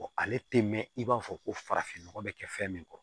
ale tɛ mɛn i b'a fɔ ko farafinnɔgɔ bɛ kɛ fɛn min kɔrɔ